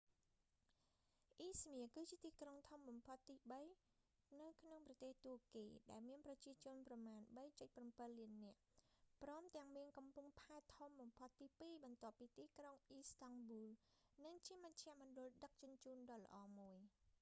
អ៊ីស្មៀគឺជាទីក្រុងធំបំផុតទីបីនៅក្នុងប្រទេសតួកគី ដែលមានប្រជាជនប្រមាណ 3.7 លាននាក់ ព្រមទាំងមានកំពង់ផែធំបំផុតទីពីរបន្ទាប់ពីទីក្រុងអ៊ីស្តង់ប៊ូល និងជាមជ្ឈមណ្ឌលដឹកជញ្ជូនដ៏ល្អមួយ